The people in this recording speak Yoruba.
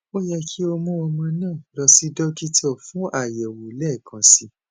o yẹ ki o mu ọmọ naa lọ si dokita fun ayẹwo lẹẹkansi